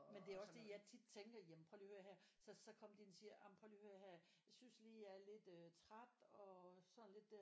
Men det også det jeg tit tænker jamen prøv lige og hør her så så kom de ind og siger jamen prøv lige og hør her jeg synes lige jeg er lidt øh træt og sådan lidt der